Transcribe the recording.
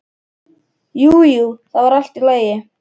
Jú, jú, það var allt í lagi.